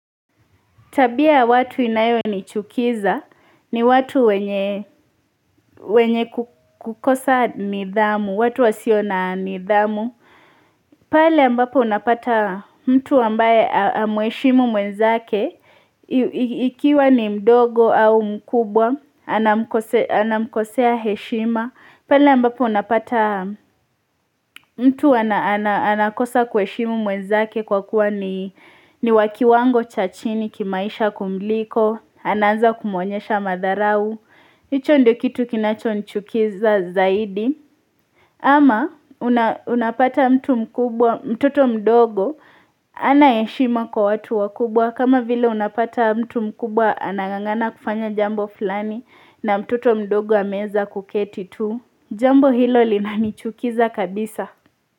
Tabia ya watu inayo ni chukiza, ni watu wenye kukosa nidhamu, watu wasiona nidhamu. Pale ambapo unapata mtu ambaye hamheshimu mwenzake, ikiwa ni mdogo au mkubwa, anamkosea heshima. Pala ambapo unapata mtu anakosa kuheshimu mwenzake kwa kuwa ni wakiwango chachini kimaisha kumliko, anaanza kumuonyesha madharau, hicho ndio kitu kinacho nichukiza zaidi. Ama unapata mtu mkubwa, mtoto mdogo hana heshima kwa watu wakubwa kama vile unapata mtu mkubwa anangangana kufanya jambo fulani na mtoto mdogo ameweza kuketi tu. Jambo hilo linanichukiza kabisa.